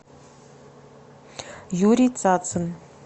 юрий цацын